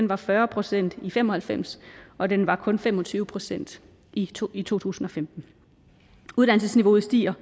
var fyrre procent i nitten fem og halvfems og den var kun fem og tyve procent i to i to tusind og femten uddannelsesniveauet stiger